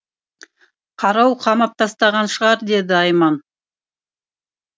қарауыл қамап тастаған шығар деді айман